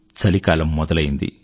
చలికాలం మొదలయ్యింది